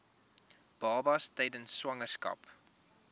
babas tydens swangerskap